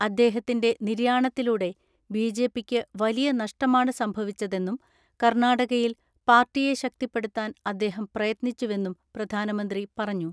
അദ്ദേഹത്തിന്റെ നിര്യാണത്തിലൂടെ ബിജെപിക്ക് വലിയ നഷ്ടമാണ് സംഭവിച്ചതെന്നും കർണാടകയിൽ പാർട്ടിയെ ശക്തിപ്പെടുത്താൻ അദ്ദേഹം പ്രയത്നിച്ചുവെന്നും പ്രധാനമന്ത്രി പറഞ്ഞു.